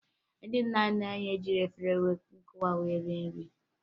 Ndị nna nna anyị ejighi efere nkụwa wee rie nri